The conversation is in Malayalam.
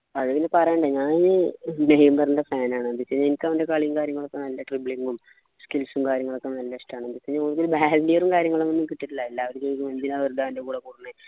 അത് പിന്നെ പറയണ്ടേ ഞാനിത് നെയ്മർൻ്റെ fan ആണ് എനിക്കവൻ്റെ കളിയും കാര്യങ്ങളുമൊക്കെ നല്ല dribbling ഉം skills ഉം കാര്യങ്ങളൊക്കെ നല്ല ഇഷ്ടാണ് പ്പോ ഉം കാര്യങ്ങളും ഒന്നും കിട്ടീട്ടില്ല എല്ലാവരും ചോദിക്കും എന്തിനാ വെറുതെ അവൻ്റെ കൂടെ കൂടുന്ന്